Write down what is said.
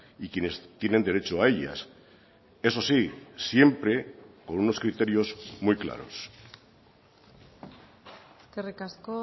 y quienes tienen derecho a ellas eso sí siempre con unos criterios muy claros eskerrik asko